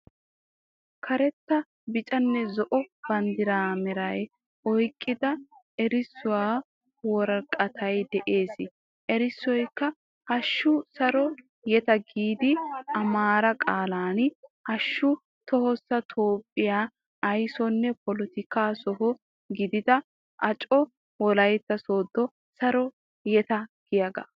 Karetta biccanne zo''o baandira mera oyiiqida erisuwa wooraqatay de'ees. Eriisoyikka hashshu Saro yeeta giiddi amaara qaalan hashshu tohossa toophphiya ayisoonne polootikka soho giidida aacca wolaita sodo Saro yeeta giiyaga.